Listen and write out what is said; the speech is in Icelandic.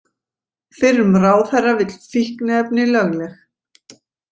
Fyrrum ráðherra vill fíkniefni lögleg